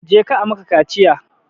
Je ka a maka kaciya!